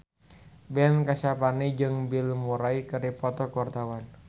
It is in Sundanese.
Ben Kasyafani jeung Bill Murray keur dipoto ku wartawan